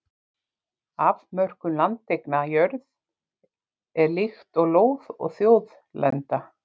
afmörkun landeigna jörð er líkt og lóð og þjóðlenda